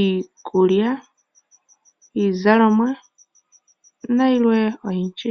iikulya , iizalomwa nayilwe oyindji.